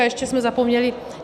A ještě jsme zapomněli.